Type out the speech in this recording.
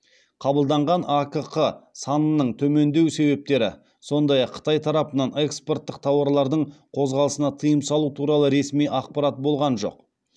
қабылданған акқ санының төмендеу себептері сондай ақ қытай тарапынан экспорттық тауарлардың қозғалысына тыйым салу туралы ресми ақпарат болған жоқ